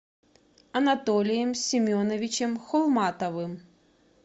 анатолием семеновичем холматовым